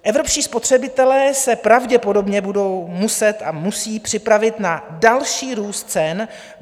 Evropští spotřebitelé se pravděpodobně budou muset a musí připravit na další růst cen.